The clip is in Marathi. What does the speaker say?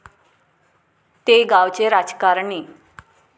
ते गावचे राजकारणी.